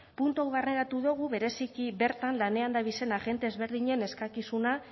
puntu hau barneratu dugu bereziki bertan lanean dabizen agente ezberdinen eskakizuna